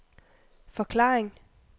forklaring